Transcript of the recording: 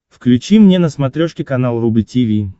включи мне на смотрешке канал рубль ти ви